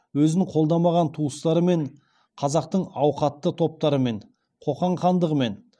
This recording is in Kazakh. өзін қолдамаған туыстарымен қазақтың ауқатты топтарымен қоқан хандығымен